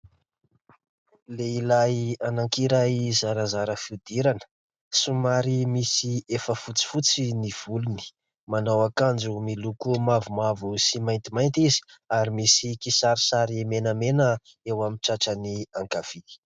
Lehilahy anankiray, zarazara fihodirana somary misy efa fotsifotsy ny volony, manao akanjo miloko mavomavo sy maintimainty izy ary misy kisarisary menamena eo amin'ny tratrany ankavia.